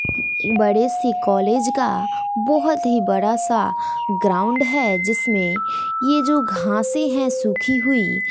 बड़े से कॉलेज का बहुत ही बड़ा सा ग्राउंड है जिसमें ये जो घासें हैं सूखी हुई--